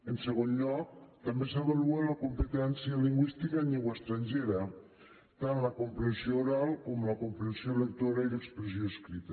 en segon lloc també s’avalua la competència lingüística en llengua estrangera tant la comprensió oral com la comprensió lectora i l’expressió escrita